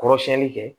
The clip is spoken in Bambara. Kɔrɔ siɲɛni kɛ